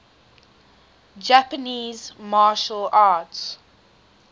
japanese martial arts